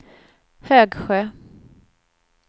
Högsjö